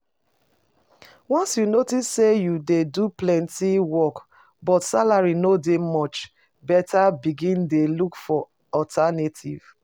Once you notice say you dey do plenty work but salary no dey match, better begin dey look for alternative